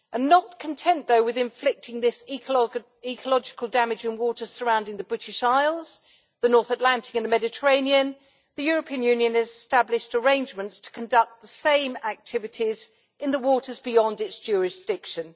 Not content, though, with inflicting this ecological damage on waters surrounding the British Isles, the North Atlantic and the Mediterranean, the European Union has established arrangements to conduct the same activities in the waters beyond its jurisdiction.